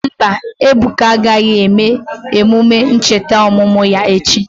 Mba, Ebuka agaghị eme emume ncheta ọmụmụ ya echi.